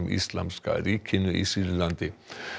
Íslamska ríkinu í Sýrlandi